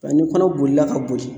Nka ni kɔnɔ bolila ka boli